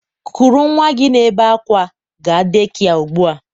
kuru nnwa gị na-ebe akwa gaa dekia ugbu a!